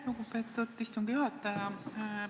Lugupeetud istungi juhataja!